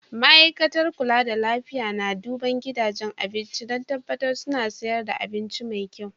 Ma'aikatar kulla da lafiya na duban gidajen abinci dan tabatar suna sayarwa abinci mai kyau.